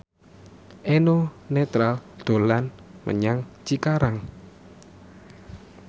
Eno Netral dolan menyang Cikarang